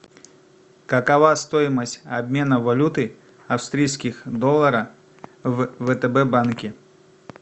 какова стоимость обмена валюты австрийских долларов в втб банке